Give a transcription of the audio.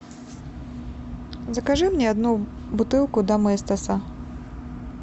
закажи мне одну бутылку доместоса